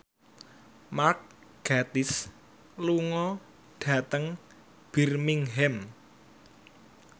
Mark Gatiss lunga dhateng Birmingham